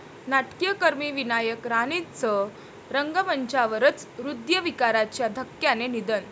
नाट्यकर्मी विनायक राणेंचं रंगमंचावरच हृदयविकाराच्या धक्क्याने निधन